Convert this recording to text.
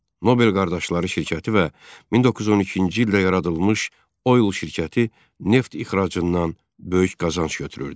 Nobel qardaşları şirkəti və 1912-ci ildə yaradılmış Oil şirkəti neft ixracından böyük qazanc götürürdü.